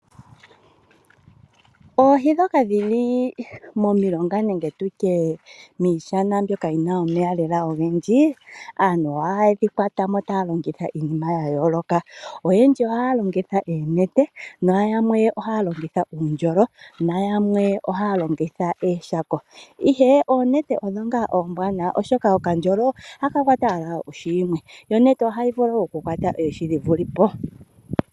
Oohi ndhoka dhili momilonga nenge tutye miishana mbyoka yi na omeya lela ogendji aantu oha ye dhi kwatamo taya longitha iinima ya yooloka oyendji oha ya longitha oonete na yamwe oha ya longitha uundjolo na yamwe oha ya longitha ooshako ihe oonete odho ngaa oombwanawa oshoka okandjolo oha ka kwata owala ohi yimwe yo onete oha yi vulu okukwata oohi dhi vulepo.